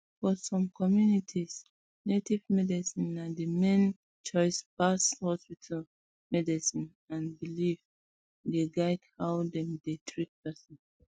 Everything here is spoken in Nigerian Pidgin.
for um some communities native medicine na the main choice pass hospital um medicine and belief dey guide how dem treat person um